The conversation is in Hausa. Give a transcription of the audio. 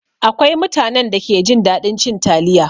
Akwai mutanen da ke jin daɗin cin taliya.